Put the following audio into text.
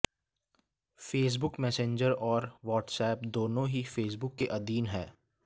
Facebook Messenger और WhatsApp दोनों ही फेसबुक के आधीन हैं